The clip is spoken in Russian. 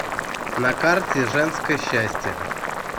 на карте женское счастье